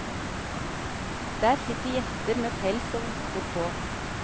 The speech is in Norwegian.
Der sitter gjester med pels og votter på.